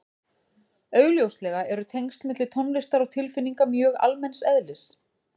augljóslega eru tengsl milli tónlistar og tilfinninga mjög almenns eðlis